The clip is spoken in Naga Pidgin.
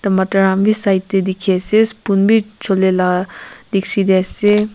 tamatar han wi side tey dikhi ase spoon bi chole la dikshi tey ase.